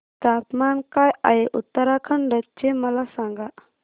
तापमान काय आहे उत्तराखंड चे मला सांगा